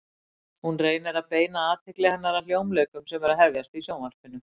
Hún reynir að beina athygli hennar að hljómleikum sem eru að hefjast í Sjónvarpinu.